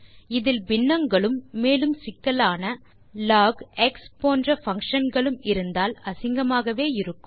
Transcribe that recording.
இதில் பின்னங்களும் மேலும் சிக்கலான லாக் எக்ஸ்ப் போன்ற பங்ஷன் களும் இருந்தால் அசிங்கமாகவே இருக்கும்